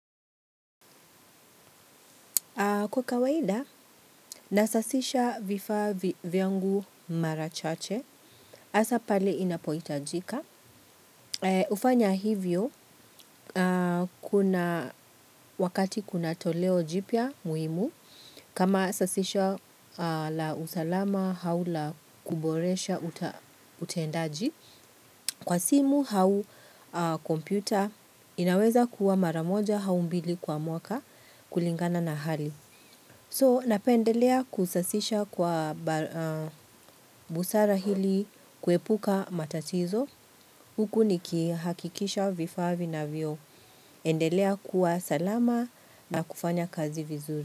Kwa kawaida, nasasisha vifaa vyangu mara chache. Asa pale inapoitajika. Kufanya hivyo, wakati kuna toleo jipya muhimu, kama sasisho la usalama au la kuboresha utendaji. Kwa simu hau kompyuta, inaweza kuwa mara moja hau mbili kwa mwaka kulingana na hali. So, napendelea kusasisha kwa busara hili kuepuka matatizo. Huku nikihakikisha vifaa vinavyoendelea kuwa salama na kufanya kazi vizuri.